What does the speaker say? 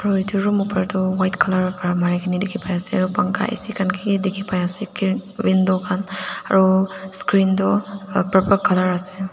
aro edu room opor tu white colour pra marikaena dikhipaiase aro pankha A_C khan kiki dikhipaiase window khanaro screen toh purple colour ase.